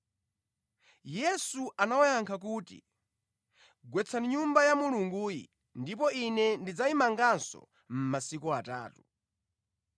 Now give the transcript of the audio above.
Yesu anawayankha kuti, “Gwetsani Nyumba ya Mulunguyi ndipo Ine ndidzayimanganso mʼmasiku atatu.”